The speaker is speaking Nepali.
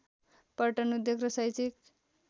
पर्यटन उद्योग र शैक्षिक